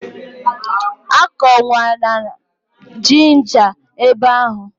Akọkwana ginja ebe ahụ!